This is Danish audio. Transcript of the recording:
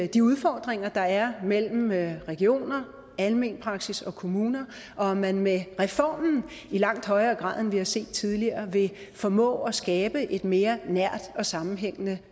de udfordringer der er mellem regioner almen praksis og kommuner og at man med reformen i langt højere grad end vi har set tidligere vil formå at skabe et mere nært og sammenhængende